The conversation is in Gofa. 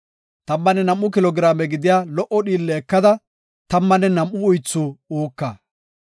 Tammanne nam7u kilo giraame gidiya lo77o dhiille ekada tammanne nam7u uythi uuka.